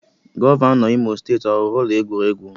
Gọvanọ Imo steeti ọ rụrụ ụlọ egwuregwu?